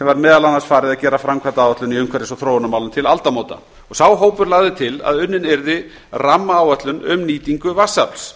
sem var meðal annars farið að gera framkvæmdaáætlun í umhverfis og þróunarmálum til aldamóta sá hópur lagði til að unnin yrði rammaáætlun um nýtingu vatnsafls